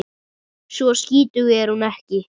Svo skítug er hún ekki.